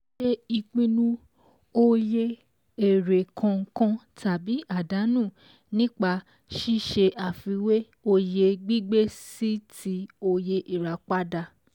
Ṣe ìpinu oye èrè kànkan tàbí àdánú nípa ṣíṣé àfiwé oye gbígbé sí ti oye ìràpadà.